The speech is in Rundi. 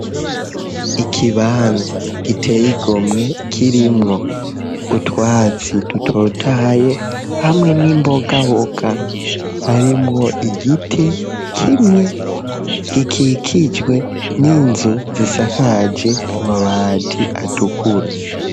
Ikibanza giteye igomwe kirimwo utwatsi dutotaye hamwe n'imbogaboka harimwo igiti kimwe gikikijwe n'inzu zisakaje amabati atukura.